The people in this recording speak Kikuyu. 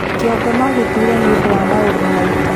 kĩongo nogĩtuure nĩũndũ wa maũndũ mangĩ